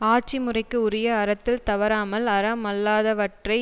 ஆட்சி முறைக்கு உரிய அறத்தில் தவறாமல் அறமல்லாதவற்றை